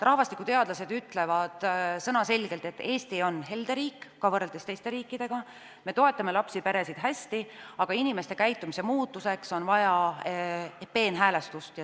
Rahvastikuteadlased ütlevad sõnaselgelt, et Eesti on helde riik – ka võrreldes teiste riikidega –, me toetame lapsi ja peresid hästi, aga inimeste käitumise muutmiseks on vaja peenhäälestust.